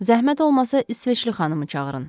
Zəhmət olmasa, İsveçli xanımı çağırın.